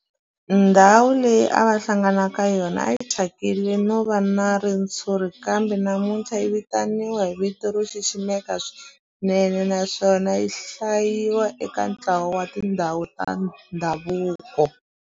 Ndhawu leyi a va hlangana ka yona a yi thyakile no va na ritshuri kambe namuntlha yi vitaniwa hi vito ro xiximeka swinene naswona yi hlayiwa eka ntlawa wa tindhawu ta ndhavuko.